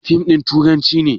Fim ɗin tarihi ne?